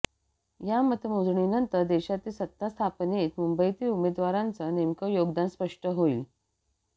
या मतमोजणीनंतर देशातील सत्तास्थापनेत मुंबईतील उमेदवारांचं नेमकं योगदान स्पष्ट होईल